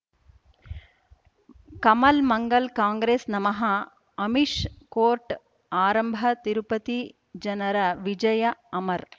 ಕಮಲ್ ಮಂಗಳ್ ಕಾಂಗ್ರೆಸ್ ನಮಃ ಅಮಿಷ್ ಕೋರ್ಟ್ ಆರಂಭ ತಿರುಪತಿ ಜನರ ವಿಜಯ ಅಮರ್